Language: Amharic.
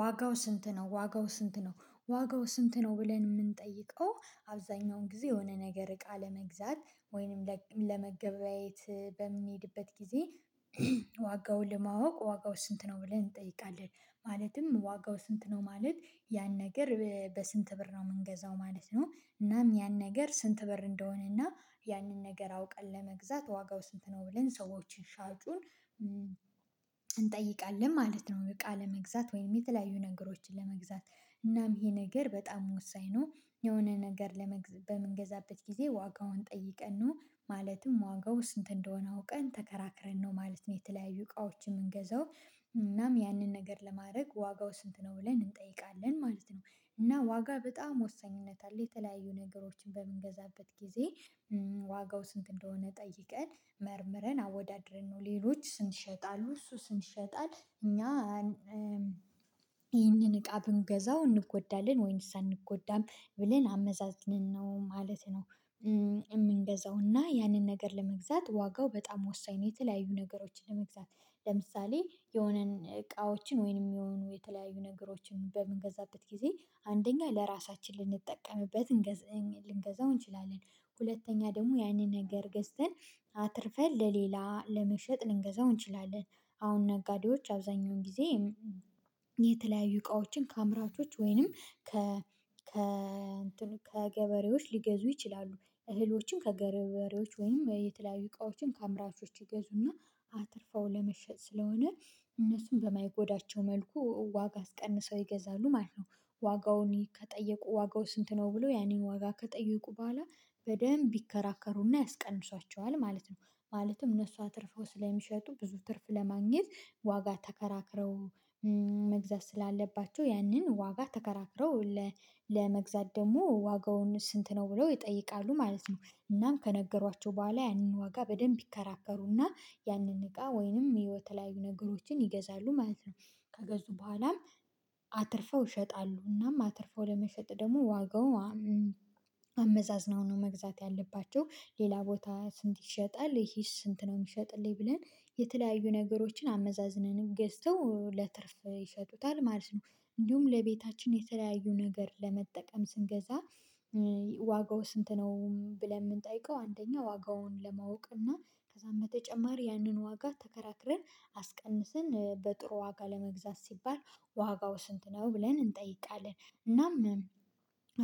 ዋጋው ስንት ነው ዋጋው ስንት ነው ዋጋው ስንት ነው? ብለን የምንጠይቀው አብዛኛውን ጊዜ የሆነ ነገር እቃ ለመግዛት ወይንም ለመገበያየት በምንሄድበት ጊዜ። ዋጋውን ለማወቅ ዋጋው ስንት ነው ብለን እንጠይቃለን። ማለትም ዋጋው ስንት ነው ማለት ያን ነገር በስንት ብር ነው የምንገዛው ማለት ነው። እናም ያን ነገር ስንት ብር እንደሆነና ያንን ነገር አውቀን ለመግዛት ዋጋው ስንት ነው ብለን ሰዎችን ሻጩን እንጠይቃለን ማለት ነው። እቃ ለመግዛት ወይም የተለያዩ ነገሮችን ለመግዛት እናም ይሄ ነገር በጣም ወሳኝ ነው። የሆነ ነገር ለመግዛት በምንገዛበት ጊዜ ዋጋውን ጠይቀን ነው ማለትም ዋጋው ስንት እንደሆነ አውቀን ተከራክረን ነው ማለት ነው። የተለያዩ እቃዎችን የምንገዛው እናም ያንን ነገር ለማድረግ ዋጋው ስንት ነው ብለን እንጠይቃለን ማለት ነው። እና ዋጋ በጣም ወሳኝነት አለ የተለያዩ ነገሮችን በምንገዛበት ጊዜ ዋጋው ስንት እንደሆነ ጠይቀን መርምረን አወዳድረን ነው ሌሎች ስንትይሸጣሉ እሱ እኛ ይህንን እቃ ብንገዛው እንጎዳለን ወይንስ አንጎዳም ብለን አመዛዝንን ነው ማለት ነው። የምንገዛውና ያንን ነገር ለመግዛት ዋጋው በጣም ወሳኝ ነው። የተለያዩ ነገሮችን ለመግዛት ለምሳሌ የሆነን እቃዎችን ወይንም የሚሆኑ የተለያዩ ነገሮችን በምንገዛበት ጊዜ አንደኛ ለራሳችን ልንጠቀምበት ልንገዛው እንችላለን። ሁለተኛ ደግሞ ያንን ነገር ገዝተን አትርፈን ለሌላ ለመሸጥ ልንገዛው እንችላለን። አሁን ነጋዴዎች አብዛኛውን ጊዜ የተለያዩ እቃዎችን ከአምራቾች ወይንም ከ ከ እንትን ከገበሬዎች ሊገዙ ይችላሉ እህሎችን ከገበሬዎች ወይም የተለያዩ እቃዎችን ከአምራቾች ይገዙና አትርፈው ለመሸጥ ስለሆነ እነሱን በማይጎዳቸው መልኩ ዋጋ አስቀንሰው ይገዛሉ ማለት ነው። ዋጋውን ከጠየቁ ዋጋው ስንት ነው ብለው ያንን ዋጋ ከጠየቁ በኋላ በደንብ ይከራከሩና ያስቀንሷቸዋል ማለት ነው። ማለትም እነሱ አትርፈው ስለሚሸጡ ብዙ ትርፍ ለማግኘት ዋጋ ተከራክረው መግዛት ስላለባቸው ያንን ዋጋ ተከራክረው ለመግዛት ደግሞ ዋጋውን ስንት ነው ብለው ይጠይቃሉ ማለት ነው። እናም ከነገሯቸው በኋላ ያንን ዋጋ በደንብ ይከራከሩና ያንን እቃ ወይንም የተለያዩ ነገሮችን ይገዛሉ ማለት ነው። ከገዙ በኋላም አትርፈው ይሸጣሉ እናም አትርፈው ለመሸጥ ደግሞ ዋጋው አመዛዝናው ነው መግዛት ያለባቸው ሌላ ቦታ ስንት ይሸጣል ይሄስ ስንት ነው የሚሸጥልኝ ብለን የተለያዩ ነገሮችን አመዛዝነንም ገዝተው ለትርፍ ይሸጡታል ማለት ነው። እንዲሁም ለቤታችን የተለያዩ ነገር ለመጠቀም ስንገዛ ዋጋው ስንት ነው ብለን የምንጠይቀው አንደኛ ዋጋውን ለማወቅ እና ከዛም በተጨማሪ ያንን ዋጋ ተከራክረን አስቀንሰን በጥሩ ዋጋ ለመግዛት ሲባል ዋጋው ስንት ነው ብለን እንጠይቃለን። እናም